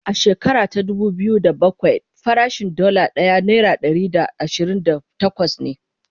a shekara ta dubu biyu da bakwai farashin Dalla ɗaya naira Ɗari da ashirin da takwas ne